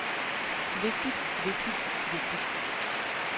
vigtigt vigtigt vigtigt